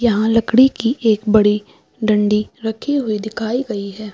यहाँ लकड़ी की एक बड़ी डंडी रखी हुई दिखाई गयी हैं।